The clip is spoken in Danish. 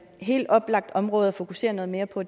helt oplagt område at fokusere mere på